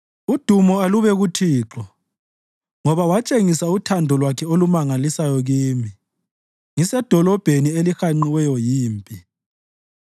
Udumo alube kuThixo ngoba watshengisa uthando lwakhe olumangalisayo kimi ngisedolobheni elihanqiweyo yimpi.